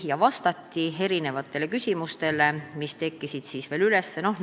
Vastati küsimustele, mis veel üles kerkisid.